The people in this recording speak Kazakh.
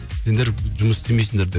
сендер жұмыс істемейсіңдер де